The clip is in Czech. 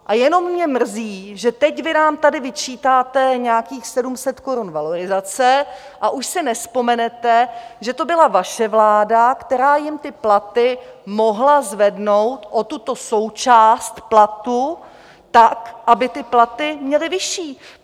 A jenom mě mrzí, že teď vy nám tady vyčítáte nějakých 700 korun valorizace a už si nevzpomenete, že to byla vaše vláda, která jim ty platy mohla zvednout o tuto součást platu tak, aby ty platy měli vyšší.